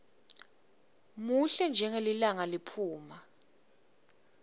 muhle njengelilanga liphuma